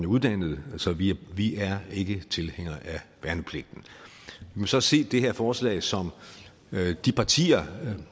uddannet så vi vi er ikke tilhængere af værnepligten vi må så se det her forslag som noget de partier